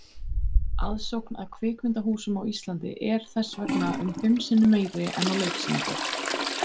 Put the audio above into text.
Aðsókn að kvikmyndahúsum á Íslandi er þess vegna um fimm sinnum meiri en á leiksýningar.